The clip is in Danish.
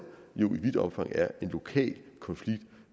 jo i vidt omfang er en lokal konflikt